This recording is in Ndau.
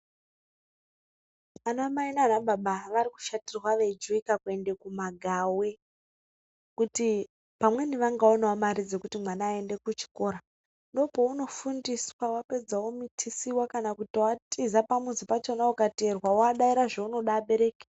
Ana mai nanababa varikushatirwa veikujuwika kuende kumagawe kuti pamweni vangaonewo mare dzekuti mwana aende kuchikora ndopounofundiswa wapedza womitisiwa kana kutoatiza pamuzi pachona ukateerwa wodaira zvaunoda abereki.